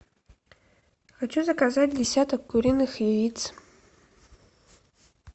хочу заказать десяток куриных яиц